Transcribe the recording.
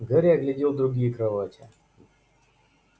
гарри оглядел другие кровати